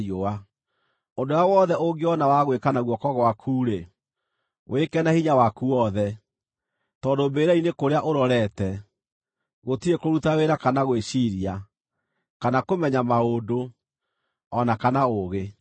Ũndũ ũrĩa wothe ũngĩona wa gwĩka na guoko gwaku-rĩ, wĩke na hinya waku wothe, tondũ mbĩrĩra-inĩ kũrĩa ũrorete, gũtirĩ kũruta wĩra kana gwĩciiria, kana kũmenya maũndũ, o na kana ũũgĩ.